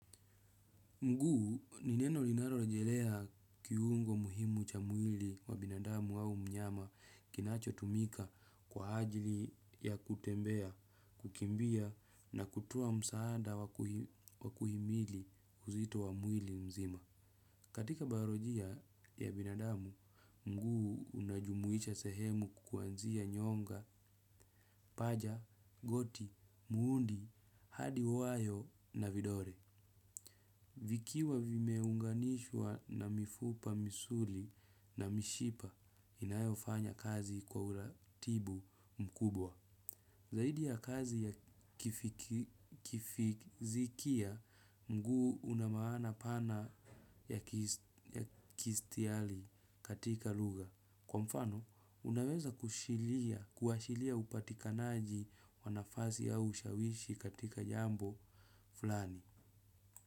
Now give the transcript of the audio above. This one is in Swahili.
Mguu nineno linarorejelea kiungo muhimu cha mwili wa binadamu au mnyama kinacho tumika kwa ajili ya kutembea, kukimbia na kutua msaada wakuhimili uzito wa mwili mzima. Katika baorojia ya binadamu, mguu unajumuisha sehemu kukuanzia nyonga, paja, goti, muundi, hadi wawayo na vidore. Vikiwa vimeunganishwa na mifupa misuli na mishipa inayofanya kazi kwa uratibu mkubwa. Zaidi ya kazi ya kifizikia mguu unamaana pana ya kistiali katika luga. Kwa mfano, unaweza kushilia, kuhashilia upatikanaji wanafasi au ushawishi katika jambo flani.